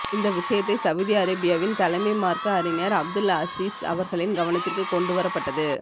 இந்த விசயத்தை சவுதி அரேபியவின் தலைமை மார்க்க அறிஞர் அப்துல் அசீஸ் அவர்களின் கவனததிற்கு கொண்டு வர பட்டது